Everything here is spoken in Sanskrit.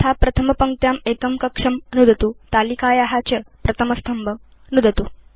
यथा प्रथमपङ्क्त्यां एकं कक्षं नुदतु तालिकाया च प्रथमस्तम्भं नुदतु